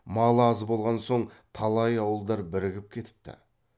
малы аз болған соң талай ауылдар бірігіп кетіпті